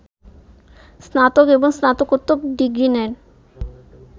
স্নাতক এবং স্নাতকোত্তর ডিগ্রী নেন